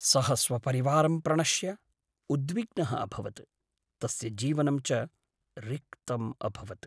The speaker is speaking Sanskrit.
सः स्वपरिवारं प्रणश्य उद्विग्नः अभवत्, तस्य जीवनं च रिक्तम् अभवत्।